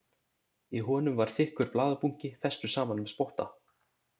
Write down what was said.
Í honum var þykkur blaðabunki, festur saman með spotta.